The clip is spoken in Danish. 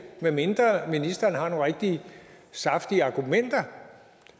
medmindre ministeren har nogle rigtig saftige argumenter